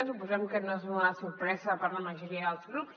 suposem que no és una sorpresa per a la majoria dels grups